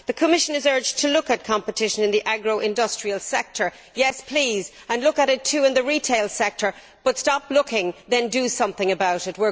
The Commission is urged to look at competition in the agro industrial sector yes, please, and look at it too in the retail sector but then stop looking and do something about it!